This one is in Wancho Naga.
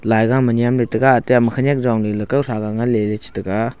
laiga ma nyemley le taiga ate khenyak yongley le kawthraga nganleley taiga.